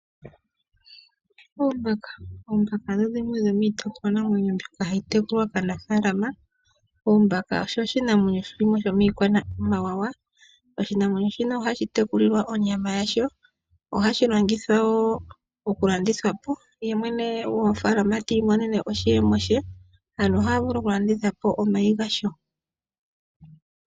Oombaka. Oombaka odho dhimwe dhomiitekulwa namwenyo mbyoka hayi tekulwa kaanafaalama. Oombaka osho oshinamwenyo shimwe shomiikwamawawa. Oshinamwenyo shino ohashi tekulilwa onyama yasho. Ohashi longithwa wo okulandithwa po yemwene gofaalama tiimonene iiyemo ye. Aantu ohaya vulu okulanditha omayi gasho.